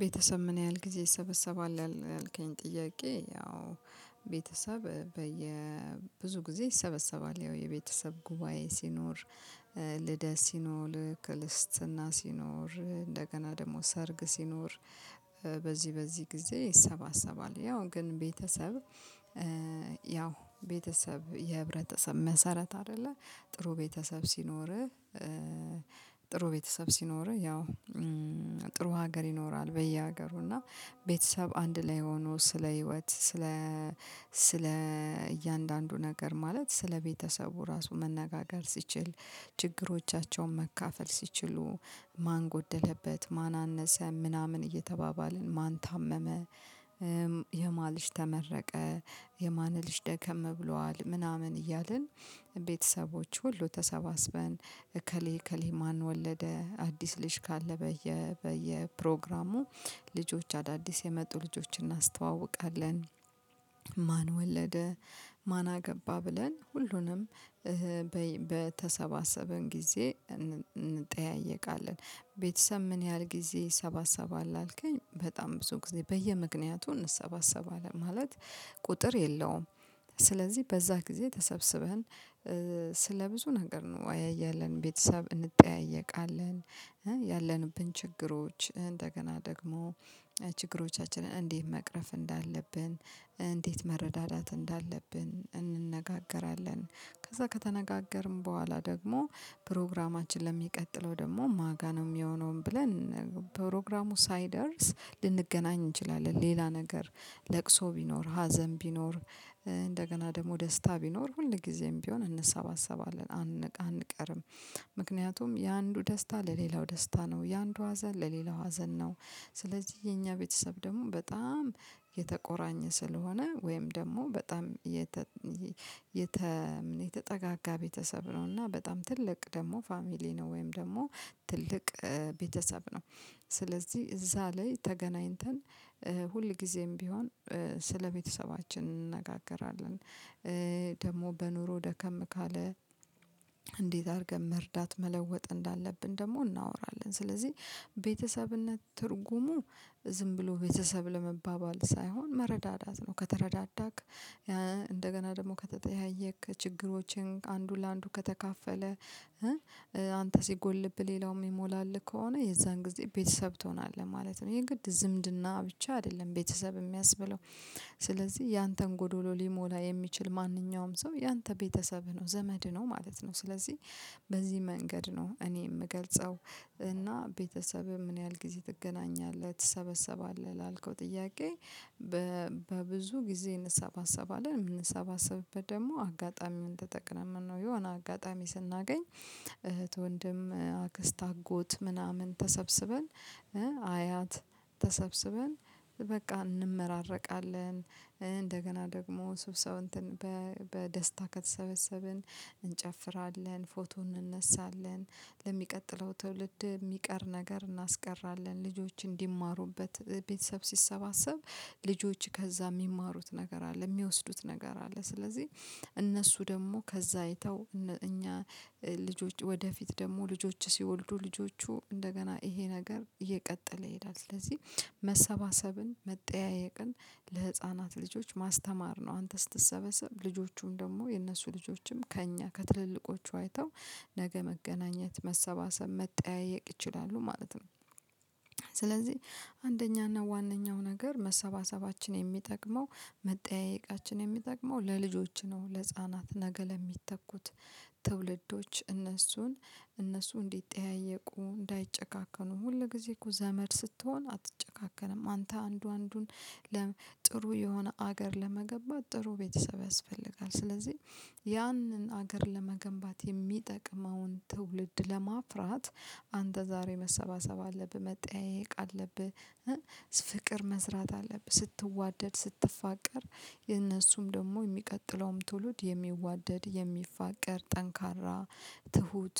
ቤተሰብ ምን ያህል ጊዜ ይሰበሰባል ያልከኝ ጥያቄ? ያው ቤተሰብ በየ ብዙ ጊዜ ይሰበሰባል ያው የቤተሰብ ጉባኤ ሲኖር ልደት ሲኖር ክልስትና ሲኖር እንደገና ደግሞ ሰርግ ሲኖር በዚህ በዚህ ጊዜ ይሰባሰባል ያው ግን ቤተሰብ ያው ቤተሰብ የህብረተሰብ መሰረት አይደለ። ጥሩ ቤተሰብ ሲኖርህ ጥሩ ቤተሰብ ሲኖርህ ያው ጥሩ ሀገር ይኖራል። በየሀገሩ እና ቤተሰብ አንድ ላይ ሆኖ ስለ ህይወት ስለ ስለ እያንዳንዱ ነገር ማለት ስለቤተሰቡ ራሱ መነጋገር ሲችል ችግሮቻቸውን መካፈል ሲችሉ ማን ጎደለበት ማን አነሰ ምናምን እየተባባልን ማን ታመመ የማ ልጅ ተመረቀ የማን ልጅ ደከም ብሏል ምናምን እያልን ቤተሰቦች ሁሉ ተሰባስበን እከሌ እከሌ ማን ወለደ አዲስ ልጅ ካለ በየ በየ ፕሮግራሙ ልጆች አዳዲስ የመጡ ልጆችን እናስተዋውቃለን። ማን ወለደ ማንአ ገባ ብለን ሁሉንም በተሰባሰበን ጊዜ እንጠያየቃለን። ቤተሰብ ምን ያህል ጊዜ ይሰባሰባል አልከኝ በጣም ብዙ ጊዜ በየምክንያቱ እንሰባሰባለን ማለት ቁጥር የለውም። ስለዚህ በዛ ጊዜ ተሰብስበን ስለ ብዙ ነገር አንወያያለን ቤተሰብ እንጠያየቃለን ያለንብን ችግሮች እንደገና ደግሞ ችግሮቻችንን እንዴት መቅረፍ እንዳለብን እንዴት መረዳዳት እንዳለብን እንነጋገራለን። ከዛ ከተነጋገርን በኋላ ደግሞ ፕሮግራማችን ለሚቀጥለው ደግሞ ማጋ ነው የሚሆነውን ብለን ፕሮግራሙ ሳይደርስ ልንገናኝ እንችላለን። ሌላ ነገር ለቅሶ ቢኖር ሀዘን ቢኖር እንደገና ደግሞ ደስታ ቢኖር ሁል ጊዜም ቢሆን እንሰባሰባለን አንቀርም። ምክንያቱም የአንዱ ደስታ ለሌላው ደስታ ነው የአንዱ ሀዘን ለሌላው ሀዘን ነው። ስለዚህ የኛ ቤተሰብ ደግሞ በጣም የተቆራኘ ስለሆነ ወይም ደግሞ በጣም የተ የተ የተጠጋጋ ቤተሰብ ነው እና በጣም ትልቅ ደግሞ ፋሚሊ ነው። ወይም ደግሞ ትልቅ ቤተሰብ ነው። ስለዚህ እዛ ላይ ተገናኝተን ሁል ጊዜም ቢሆን ስለቤተሰባችን እንነጋገራለን። ደግሞ በኑሮ ደከም ካለ አድርገን መርዳት መለወጥ እንዳለብን ደግሞ እናወራለን። ስለዚህ ቤተሰብነት ትርጉሙ ዝም ብሎ ቤተሰብ ለመባባል ሳይሆን መረዳዳት ነው። ከተረዳዳክ እንደገና ደግሞ ከተጠያየክ ችግሮችን አንዱ ለአንዱ ከተካፈለ አንተ ሲጎልብህ ሌላውም የሚሞላልህ ከሆነ የዛን ጊዜ ቤተሰብ ትሆናለህ ማለት ነው። ይሄ ግድ ዝምድና ብቻ አይደለም ቤተሰብ የሚያስብለው። ስለዚህ ያንተን ጎዶሎ ሊሞላ የሚችል ማንኛውም ሰው ያንተ ቤተሰብህ ነው ዘመድህ ነው ማለት ነው። ስለዚህ በዚህ መንገድ ነው እኔ የምገልጸው። እና ቤተሰብም ምን ያህል ጊዜ ትገናኛለህ ትሰበሰባለህ ላልከው ጥያቄ? በብዙ ጊዜ እንሰባሰባለን። የምንሰባሰብበት ደግሞ አጋጣሚዉን ተጠቅመን ነው የሆነ አጋጣሚ ስናገኝ እህት ወንድም አክስት አጎት ምናምን ተሰብስበን አያት ተሰብስበን በቃ እንመራረቃለን። እንደገና ደግሞ ስብሰው እንትን በደስታ ከተሰበሰብን እንጨፍራለን ፎቶ እንነሳለን። ለሚቀጥለው ትውልድ የሚቀር ነገር እናስቀራለን ልጆች እንዲማሩበት ቤተሰብ ሲሰባሰብ ልጆች ከዛ የሚማሩት ነገር አለ የሚወስዱት ነገር አለ። ስለዚህ እነሱ ደግሞ ከዛ አይተው እኛ ልጆች ወደፊት ደግሞ ልጆች ሲወልዱ ልጆቹ እንደገና ይሄ ነገር እየቀጠለ ይሄዳል። ስለዚህ መሰባሰብን መጠያየቅን ለህፃናት ልጆች ማስተማር ነው አንተ ስትሰበሰብ ልጆቹም ደግሞ የእነሱ ልጆችም ከእኛ ከትልልቆቹ አይተው ነገ መገናኘት መሰባሰብ መጠያየቅ ይችላሉ ማለት ነው። ስለዚህ አንደኛና ዋነኛው ነገር መሰባሰባችን የሚጠቅመው መጠያየቃችን የሚጠቅመው ለልጆች ነው። ለህፃናት ነገ ለሚተኩት ትውልዶች እነሱን እነሱ እንዲጠያየቁ እንዳይጨካከኑ ሁል ጊዜ እኮ ዘመድ ስትሆን አትጨካከንም አንተ አንዱ አንዱን ለጥሩ የሆነ ሀገር ለመገንባት ጥሩ ቤተሰብ ያስፈልጋል። ስለዚህ ያንን ሀገር ለመገንባት የሚጠቅመውን ትውልድ ለማፍራት አንተ ዛሬ መሰባሰብ አለብህ መጠያየቅ አለብህ። ፍቅር መስራት አለብህ ስትዋደድ ስትፋቀር የነሱም ደግሞ የሚቀጥለውም ትውልድ የሚዋደድ የሚፋቀር ጠንካራ ትሁት